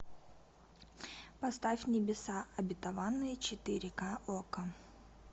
поставь небеса обетованные четыре ка окко